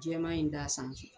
Jɛɛma in d'a sanfɛ.